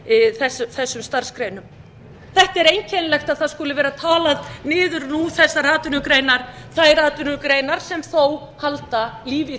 af þessum starfsgreinum þetta er einkennilegt að þetta skuli vera talað niður nú þær atvinnugreinar sem þó halda lífi í